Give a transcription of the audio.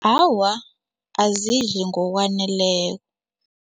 Awa, azidli ngokwaneleko.